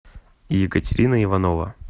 екатерина иванова